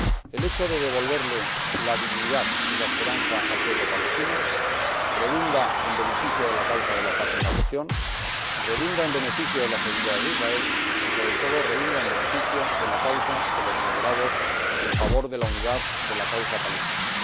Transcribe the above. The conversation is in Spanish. El hecho de devolverle la dignidad y la esperanza al pueblo palestino redunda en beneficio de la causa de la paz en la región, en beneficio de la seguridad de Israel y, sobre todo, en beneficio de la causa de los moderados y en favor de la unidad de la causa palestina.